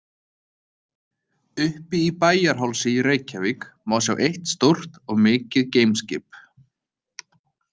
Uppi í Bæjarhálsi í Reykjavík má sjá eitt stórt og mikið geimskip.